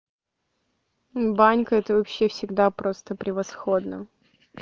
банька это вообще всегда просто превосходно